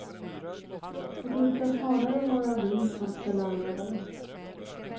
Det brukar snarare vara vi som ska lära dem.